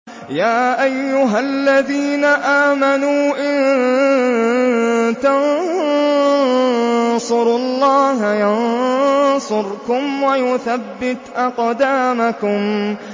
يَا أَيُّهَا الَّذِينَ آمَنُوا إِن تَنصُرُوا اللَّهَ يَنصُرْكُمْ وَيُثَبِّتْ أَقْدَامَكُمْ